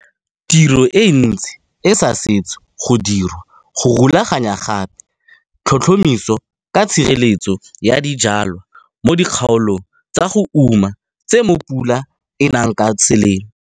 Tiro e ntsi e sa setse go dirwa go rulaganyagape tlhotlhomiso ka tshireletso ya dijwalwa mo dikgaolong tsa go uma tse mo pula e nang ka selemo.